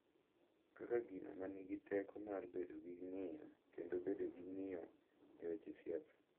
Kaka gino ma nigi teko mar bedo gi ng’iyo kendo bedo gi ng’iyo e weche siasa.